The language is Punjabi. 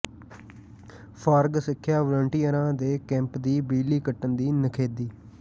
ਫਾਰਗ ਸਿੱਖਿਆ ਵਾਲੰਟੀਅਰਾਂ ਦੇ ਕੈਂਪ ਦੀ ਬਿਜਲੀ ਕੱਟਣ ਦੀ ਨਿਖੇਧੀ